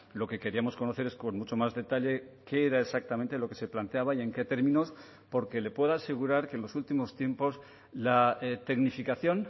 lo que queríamos conocer es con mucho más detalle qué era exactamente lo que se planteaba y en qué términos porque le puedo asegurar que en los últimos tiempos la tecnificación